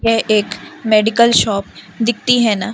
यह एक medical shop दिखती है ना।